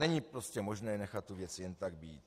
Není prostě možné nechat tu věc jen tak být.